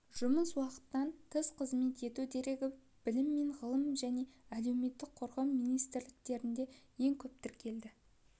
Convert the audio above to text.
жұмыс уақытынан тыс қызмет ету дерегі білім және ғылым мен әлеуметтік қорғау министрліктерінде ең көп тіркелді